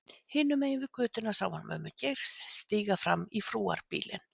Hinum megin við götuna sá hann mömmu Geirs stíga inn í frúarbílinn.